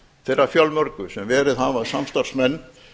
þeirra fjölmörgu sem verið hafa samstarfsmenn